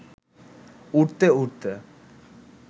উড়তে উড়তে